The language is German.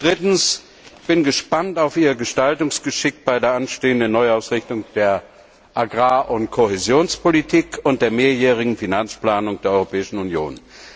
Drittens bin ich gespannt auf Ihr Gestaltungsgeschick bei der anstehenden Neuausrichtung der Agrar und Kohäsionspolitik und der mehrjährigen Finanzplanung der Europäischen Union.